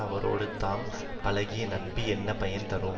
அவரோடு தாம் பழகிய நட்பு என்ன பயன் தரும்